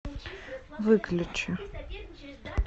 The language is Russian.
выключи